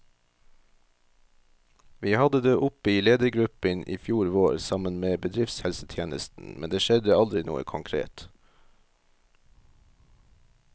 Vi hadde det oppe i ledergruppen i fjor vår, sammen med bedriftshelsetjenesten, men det skjedde aldri noe konkret.